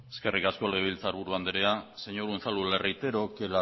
eskerrik asko legebiltzarburu andrea señor unzalu le reitero que